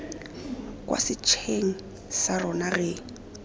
kwa setsheng sa rona re